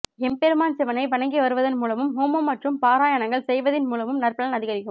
எம்பெருமான் சிவனை வணங்கிவருவதன் மூலமும் ஹோமம் மற்றும் பாராயணங்கள் செய்வதின் மூலமும் நற்பலன் அதிகரிக்கும்